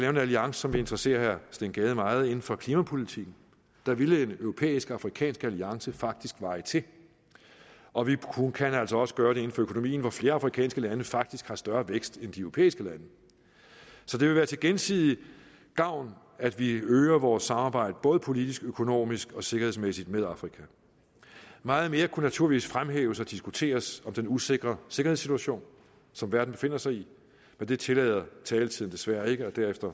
en alliance som vil interessere herre steen gade meget inden for klimapolitikken der ville en europæisk afrikansk alliance faktisk veje til og vi kan altså også gøre det inden for økonomien hvor flere afrikanske lande faktisk har større vækst end de europæiske lande så det vil være til gensidig gavn at vi øger vores samarbejde både politisk økonomisk og sikkerhedsmæssigt med afrika meget mere kunne naturligvis fremhæves og diskuteres om den usikre sikkerhedssituation som verden befinder sig i men det tillader taletiden desværre ikke og